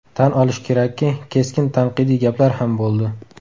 Tan olish kerakki, keskin tanqidiy gaplar ham bo‘ldi.